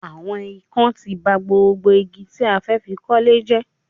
Àwọn ikán ti ba gbogbo igi tí a fẹ́ fi kọ́lé jẹ́